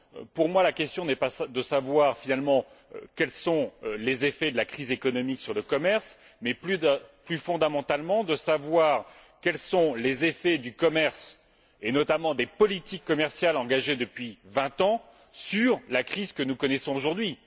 Pour moi la question n'est pas de savoir finalement quels sont les effets de la crise économique sur le commerce, mais plus fondamentalement de savoir quels sont les effets du commerce, et notamment des politiques commerciales engagées depuis 20 ans, sur la crise que nous connaissons aujourd'hui.